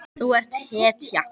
Þú ert hetja.